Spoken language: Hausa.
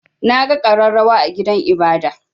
Na ga ƙararrawa a gidan ibada.